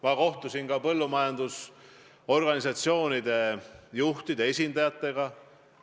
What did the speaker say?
Ma kohtusin põllumajandusorganisatsioonide juhtide esindajatega.